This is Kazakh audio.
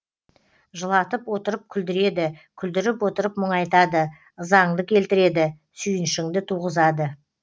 жылатып отырып күлдіреді күлдіріп отырып мұңайтады ызаңды келтіреді сүйінішіңді туғызады